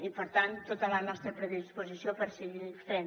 i per tant tota la nostra predisposició per seguir ho fent